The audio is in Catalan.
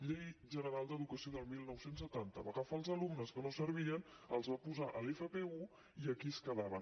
llei general d’educació del dinou setanta va agafar els alumnes que no servien els va posar a l’fp1 i aquí es quedaven